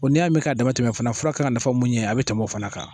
Bɔn N'i y'a mi k'a dama tɛmɛ fana fura kan ka nafa mun ɲɛ a be tɛmɛ o fana kan